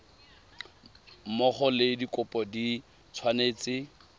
mmogo le dikopo di tshwanetse